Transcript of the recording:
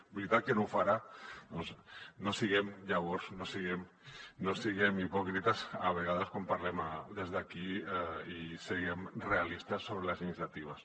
veritat que no ho farà doncs no siguem llavors hipòcrites a vegades quan parlem des d’aquí i siguem realistes sobre les iniciatives